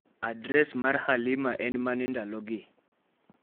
adres mar Halima en mane ndalogi